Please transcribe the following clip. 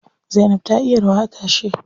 Zainab ta iya rawa a tashe.